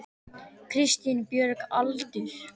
Kristín Björg Aldur?